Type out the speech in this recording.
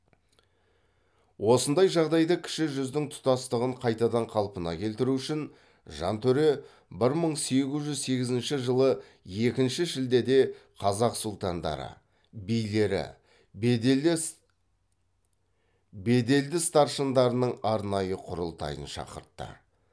осындай жағдайда кіші жүздің тұтастығын қайтадан қалпына келтіру үшін жантөре бір мың сегіз жүз сегізінші жылы екінші шілдеде қазақ сұлтандары билері беделді старшындарының арнайы құрылтайын шақыртты